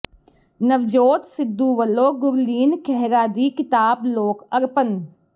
ਨਵਜੋਤ ਸਿੱਧੂ ਵਲੋਂ ਗੁਰਲੀਨ ਖਹਿਰਾ ਦੀ ਕਿਤਾਬ ਲੋਕ ਅਰਪਣ